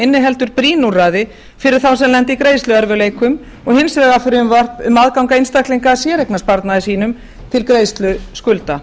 inniheldur brýn úrræði fyrir þá sem lenda í greiðsluerfiðleikum og hins vegar frumvarp um aðgang einstaklinga að séreignarsparnaði sínum til greiðslu skulda